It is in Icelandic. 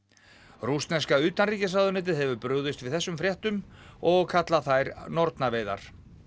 rússneska utanríkisráðuneytið hefur brugðist við þessum fréttum og kallað þær nornaveiðar